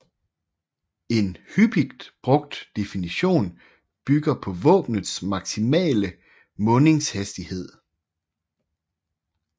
En hyppigt brugt definition bygger på våbnets maksimale mundingshastighed